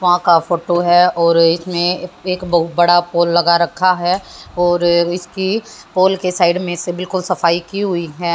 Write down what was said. वहां का फोटो है और इसमें एक बहोत बड़ा पोल लगा रखा है और इसकी पोल के साइड में से बिल्कुल सफाई की हुई है।